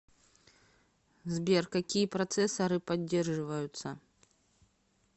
сбер какие процессоры поддерживаются